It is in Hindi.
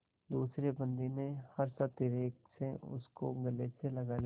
दूसरे बंदी ने हर्षातिरेक से उसको गले से लगा लिया